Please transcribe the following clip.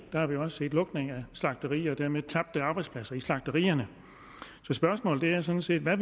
har vi jo også set lukning af slagterier og dermed tabte arbejdspladser på slagterierne så spørgsmålet er sådan set hvad